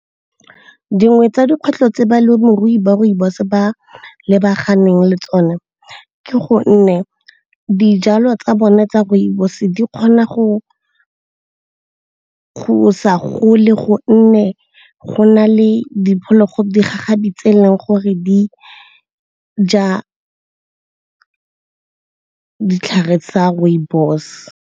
Dingwe tsa dikgwetlho tse balemirui ba rooibos ba lebaganeng le tsone ke gonne dijalo tsa bone tsa rooibos-e di kgona go sa gole gonne go na le digagabi tse e leng gore di ja ditlhare tsa rooibos.